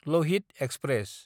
Lohit express